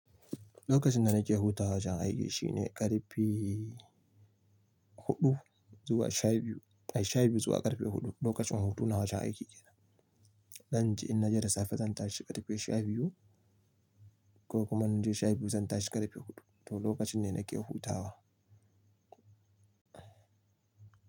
Lokacin da nake hutawa wajen aiki shine ƙarfe huɗu zuwa sha biyu, ai sha biyu zuwa ƙarfe huɗu lokacin hutuna wajen aiki yake. Dan ji in naje da safe zan tashi ƙarfe sha biyu ko kuma naje sha biyu zan tashi ƙarfe huɗu to lokacin ne nake hutawa.